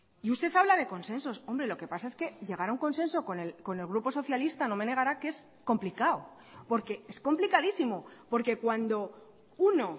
y usted habla de consensos hombre lo que pasa es que llegar a un consenso con el grupo socialista no me negará que es complicado porque es complicadísimo porque cuando uno